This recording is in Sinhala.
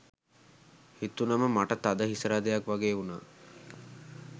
හිතුණම මට තද හිසරදයක් වගේ වුණා.